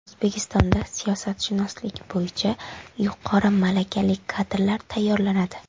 O‘zbekistonda siyosatshunoslik bo‘yicha yuqori malakali kadrlar tayyorlanadi.